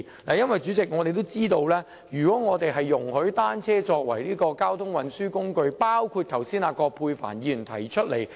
代理主席，大家也知道，如果容許單車成為交通運輸工具，即如葛珮帆議員剛才所提及，便要檢視道路。